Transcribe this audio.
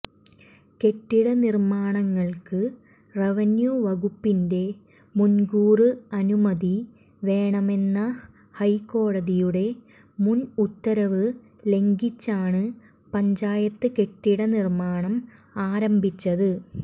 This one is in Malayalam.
കെട്ടിട നിര്മ്മാനങ്ങള്ക്ക് റവന്യൂ വകുപ്പിന്റെ മുന്കൂര് അനുമതി വേണമെന്ന ഹൈക്കോടതിയുടെ മുന് ഉത്തരവ് ലംഘിച്ചാണ് പഞ്ചായത്ത് കെട്ടിട നിര്മ്മാണം ആരംഭിച്ചത്